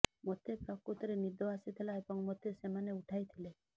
ମୋତେ ପ୍ରକୃତରେ ନିଦ ଆସିଥିଲା ଏବଂ ମୋତେ ସେମାନେ ଉଠାଇଥିଲେ